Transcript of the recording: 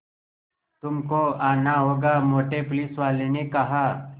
तुमको आना होगा मोटे पुलिसवाले ने कहा